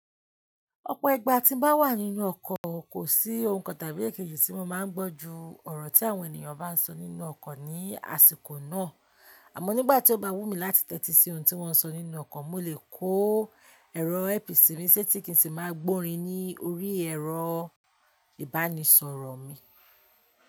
Ọ̀pọ̀ ìgba tí bá wà nínú ọkọ̀, kò sí ohun kan tàbí èkéjì tí mo máa ń gbọ́ jú ọ̀rọ̀ tí àwọn ènìyàn bá ń sọ nínú ọkọ̀ ní àsìkò náà. Àmọ́ nígbà tí ó bá wù mí láti tẹ́tí sí ohun tí wọ́n sọ nínú ọkọ̀, mo lè kó ẹ̀rọ earpiece mí ṣ'étí kì n ṣi má gbórin ní orí ẹ̀rọ ìbánisọ̀rọ̀ mi.